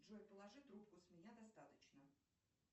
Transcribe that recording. джой положи трубку с меня достаточно